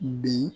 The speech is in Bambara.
Bi